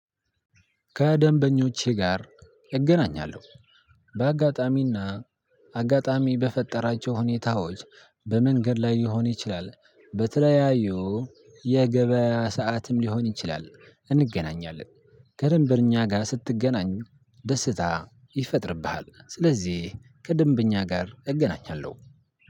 ከደንበኞቼ ጋር እገናኛለሁ፤ በአጋጣሚ እና አጋጣሚ በፈጠራቸው ሁኔታዎች በመንገድ ላይ ሊሆን ይችላል፣ በተለያዩ የገበያ ሰዓትም ሊሆን ይችላል እንገናኛለን ከደንበኛ ጋር ስትገናኝ ደስታ ይፈጥርብሃል ስለዚህ ከደንበኛ ጋር እገናኛለሁ።